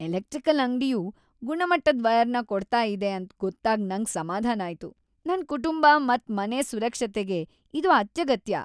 Electrical ಅಂಗ್ಡಿಯು ಗುಣಮಟ್ಟದ್ ವಯರ್ನ ಕೊಡ್ತಾ ಇದೆ ಅಂತ್ ಗೊತ್ತಾಗ್ ನಂಗ್ ಸಮಾಧಾನ ಆಯ್ತು. ನನ್ ಕುಟುಂಬ ಮತ್ ಮನೆ ಸುರಕ್ಷತೆಗೆ ಇದು ಅತ್ಯಗತ್ಯ.